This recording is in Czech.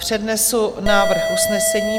Přednesu návrh usnesení.